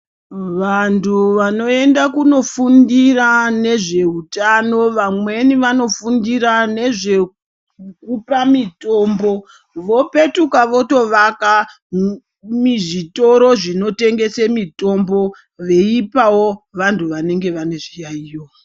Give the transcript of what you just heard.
Vantu vanoenda kuno fundira nezve utano vamweni vanofundira nezve kupa mitombo vo petuka voto vaka mizvitoro zvino tengese mitombo veipawo vantu vanenge vane zvi yayiyo.